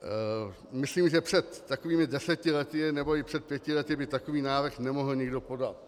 Myslím, že před takovými deseti lety nebo i před pěti lety by takový návrh nemohl nikdo podat.